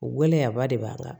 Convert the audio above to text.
O gɛlɛyaba de b'an kan